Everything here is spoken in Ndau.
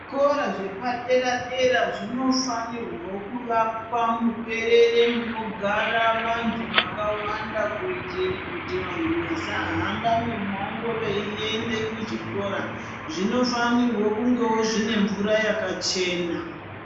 Zvikora zvepadera dera zvinofanira kuakwa muberere munogara vantu vakawanda kuitire kuti vantu vasahamba mumango veiende kuzvikora zvinofanira kunge zvine mvura yakachena.